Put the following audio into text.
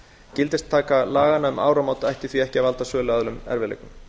gildistaka laganna um áramót ætti því ekki að valda söluaðilum erfiðleikum